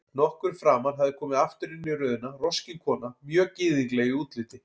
Nokkru framar hafði komið aftur inn í röðina roskin kona, mjög gyðingleg í útliti.